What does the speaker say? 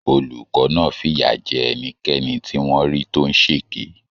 Olùkọ́ náà fìyà jẹ ẹnikẹ́ni tí wọ́n rí tó ń ṣèké.